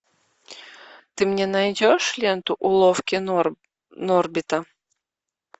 ты мне найдешь ленту уловки норбита